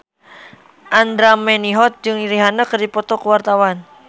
Andra Manihot jeung Rihanna keur dipoto ku wartawan